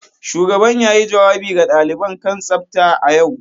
Shugaban yayi jawabi ga daliban kan tsafta a yau.